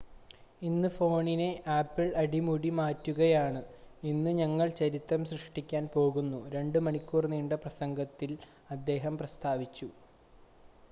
"""ഇന്ന് ഫോണിനെ ആപ്പിൾ അടിമുടി മാറ്റുകയാണ് ഇന്ന് ഞങ്ങൾ ചരിത്രം സൃഷ്ടിക്കാൻ പോകുന്നു" 2 മണിക്കൂർ നീണ്ട പ്രസംഗത്തിൽ അദ്ദേഹം പ്രസ്താവിച്ചു.